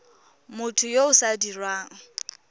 motho yo o sa dirang